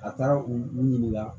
A taara u u ɲininka